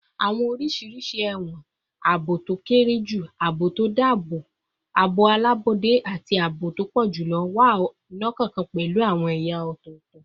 Awọn oriṣi ẹwọn oriṣiriṣi - aabo to kere ju, aabo alabọde, ati aabo to pọ julọ - wa, ọkọọkan pẹlu awọn ẹya ọtọtọ